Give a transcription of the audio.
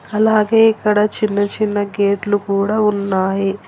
అలాగే ఇక్కడ చిన్న చిన్న గేట్లు కూడా ఉన్నాయి.